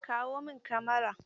Kawo min Kamara!